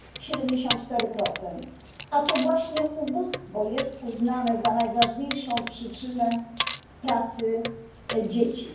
74. A to właśnie ubóstwo jest uznane za najważniejszą przyczynę pracy dzieci.